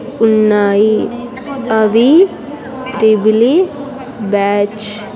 ఉన్నాయి అవి triple E batch .